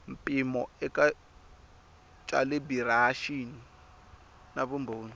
mpimo eka calibiraxini na vumbhoni